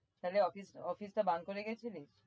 তাহলে office office টা বান করে গেছিলি?